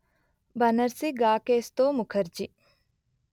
బనర్సి గాకేశ్తో ముకర్జీ